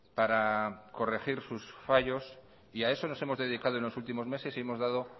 para corregir sus fallos y a eso nos hemos dedicado en los últimos meses y hemos dado